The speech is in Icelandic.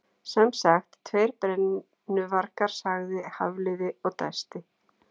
Sem sagt, tveir brennuvargar- sagði Hafliði og dæsti.